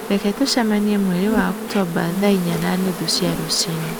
Reke tũcemanie mweri wa Oktomba thaa inya na nuthu cia rũcinĩ